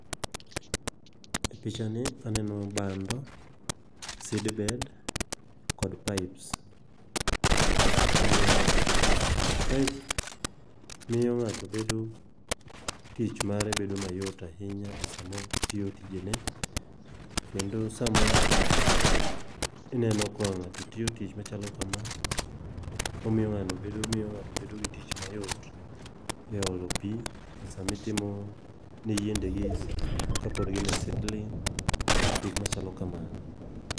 E picha ni aneno bando, seedbed, kod pipes. Omiyo paip miyo ng'ato bedo tich mare bedo ma yot ahinya e samo tiyo tije ne. Kendo sama ineno ka ng'ato tiyo tich machalo kama, omiyo ng'ano omiyo ng'ato bedo gi tich ma yot e olo pi e sami timo ne yiende gi kapod gin e seedling, gik machalo ka mano.